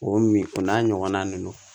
O min o n'a ɲɔgɔnna ninnu